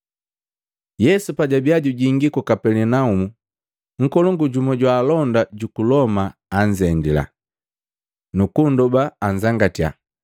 Yesu pajabia jujingii ku Kapelinaumu, nkolongu jumu jwa alonda juku Loma anzendila, nukunndoba anzangatia,